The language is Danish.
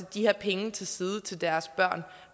de her penge til side til deres børn og